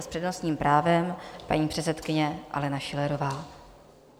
A s přednostním právem paní předsedkyně Alena Schillerová.